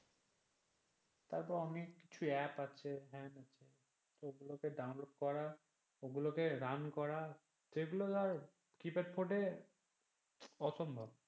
তারপর অনেক কিছু app আছে ওগুলোকে ডাউনলোড করা ও লোকে রান করা সেগুলো ধর কিপ্যাড ফোনে অসম্ভব।